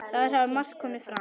Þar hafi margt komið fram.